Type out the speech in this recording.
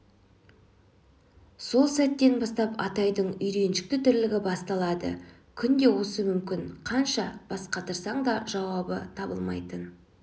сол сәттен бастап атайдың үйреншікті тірлігі басталады күнде осы мүмкін қанша бас қатырсаң да жауабы табылмайтын